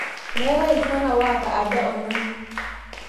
Meetai ltungani waata aja onanu